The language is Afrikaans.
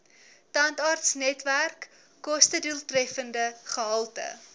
tandartsnetwerk kostedoeltreffende gehalte